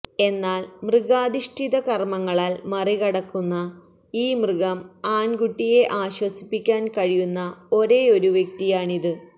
എന്നാൽ മൃഗാധിഷ്ഠിത കർമ്മങ്ങളാൽ മറികടക്കുന്ന ഈ മൃഗം ആൺകുട്ടിയെ ആശ്വസിപ്പിക്കാൻ കഴിയുന്ന ഒരേയൊരു വ്യക്തിയാണിത്